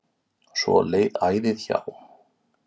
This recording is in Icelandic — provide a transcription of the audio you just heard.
Svo leið æðið hjá.